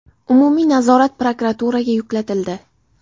Umumiy nazorat prokuraturaga yuklatildi.